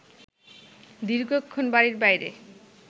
দীর্ঘক্ষণ বাড়ির বাইরে